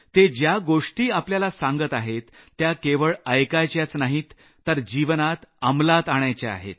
ते ज्या गोष्टी आपल्याला सांगत आहेत त्या केवळ ऐकायच्याच नाहीत तर जीवनात अमलात आणायच्या आहेत